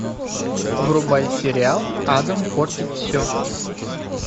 врубай сериал адам портит все